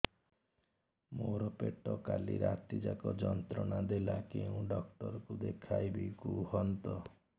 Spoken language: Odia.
ମୋର ପେଟ କାଲି ରାତି ଯାକ ଯନ୍ତ୍ରଣା ଦେଲା କେଉଁ ଡକ୍ଟର ଙ୍କୁ ଦେଖାଇବି କୁହନ୍ତ